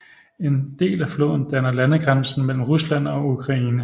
En del af floden danner landegrænsen mellem Rusland og Ukraine